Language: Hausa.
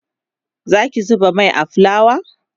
Zaki zuba Mai a fulawa?